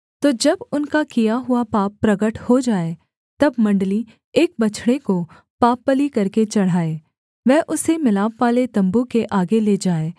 तो जब उनका किया हुआ पाप प्रगट हो जाए तब मण्डली एक बछड़े को पापबलि करके चढ़ाए वह उसे मिलापवाले तम्बू के आगे ले जाए